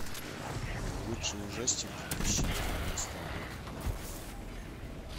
лучший ужастик две тысячи девятнадцатого года